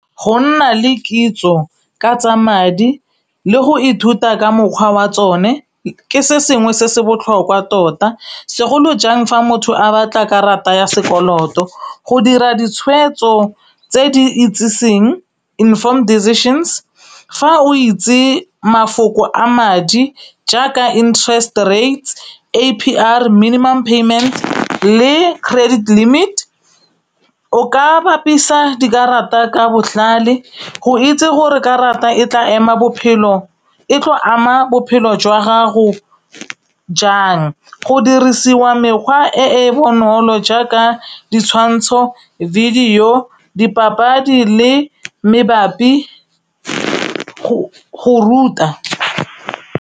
Go nna le kitso ka tsa madi le go ithuta ka mokgwa wa tsone ke se sengwe se se botlhokwa tota, segolo jang fa motho a batla karata ya sekoloto. Go dira ditshwetso tse di itseseng inform decisions. Fa o itse mafoko a madi jaaka interest rates, A_P_R minimum payment le credit limit, o ka bapisa dikarata ka botlhale go itse gore karata e tlo ama bophelo jwa gago jang. Go dirisiwa mekgwa e e bonolo jaaka ditshwantsho, video, dipapadi le mabapi le go ruta.